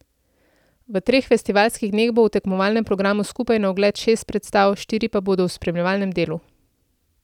V treh festivalskih dneh bo v tekmovalnem programu skupaj na ogled šest predstav, štiri pa bodo v spremljevalnem delu.